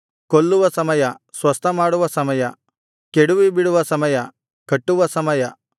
ಕೊಲ್ಲುವ ಸಮಯ ಸ್ವಸ್ಥಮಾಡುವ ಸಮಯ ಕೆಡುವಿಬಿಡುವ ಸಮಯ ಕಟ್ಟುವ ಸಮಯ